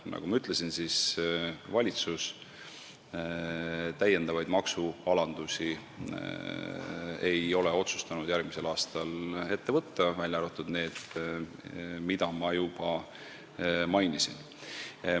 Nagu ma ütlesin, valitsus ei ole otsustanud järgmisel aastal täiendavaid maksualandusi ette võtta, välja arvatud need, mida ma juba mainisin.